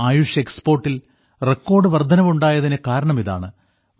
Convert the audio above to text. ആയുഷ് എക്സ്പോർട്ടിൽ റെക്കോർഡ് വർദ്ധനവുണ്ടായതിനു കാരണം ഇതാണ്